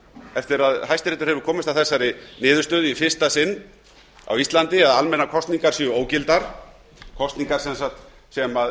eftir að hæstiréttur hefur komist að þeirri niðurstöðu í fyrsta sinn á íslandi að almennar kosningar séu ógildar kosningar sem